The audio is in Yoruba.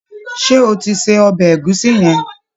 Ṣé o ti se ọbẹ̀ ẹ̀gúsí yẹn?